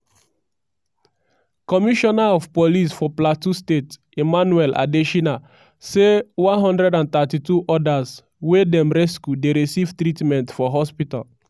commissioner of police for plateau state emmanuel adesina say 132 odas wey dem rescue dey receive treatment for hospital.